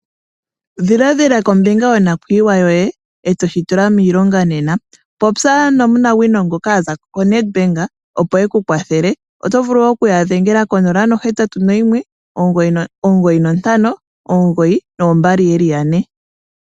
Dhiladhila kombinga yonakuyiwa yoye, e to shi tula miilongo nena. Popya nomunawino ngoka a za koNedbank opo e ku kwathele. Oto vulu woo wadhenga ko 081 9592222.